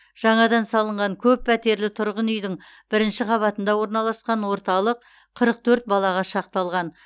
жаңадан салынған көп пәтерлі тұрғын үйдің бірінші қабатында орналасқан орталық қырық төрт балаға шақталған